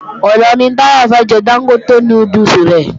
Ọ̀la ni Táyọ̀ fẹ́ jẹ Dángótè núdùsì rẹ̀